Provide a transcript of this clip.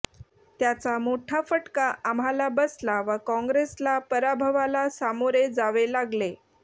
त्याचा मोठा फटका आम्हाला बसला व कॅांग्रेसला पराभवाला सामोरे जावे लागले